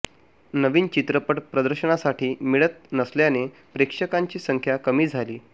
नवीन चित्रपट प्रदर्शनासाठी मिळत नसल्याने प्रेक्षकांची संख्या कमी झाली